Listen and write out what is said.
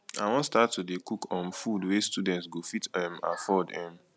i wan start to dey cook um food wey students go fit um afford um